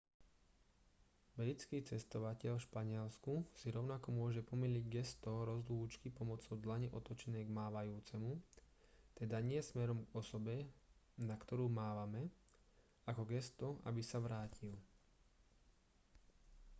britský cestovateľ v španielsku si rovnako môže pomýliť gesto rozlúčky pomocou dlane otočenej k mávajúcemu teda nie smerom k osobe na ktorú mávame ako gesto aby sa vrátil